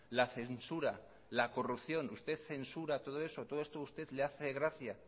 la censura la corrupción usted censura todo esto todo esto a usted le hace gracia